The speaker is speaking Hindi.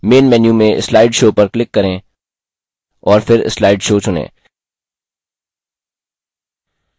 main menu में slide show पर click करें और फिर slide show चुनें